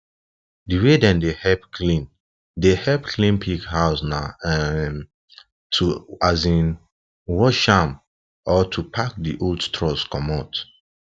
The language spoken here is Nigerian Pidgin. di way dem dey help clean dey help clean pig house na um to um wash um am or to pack di old straws comot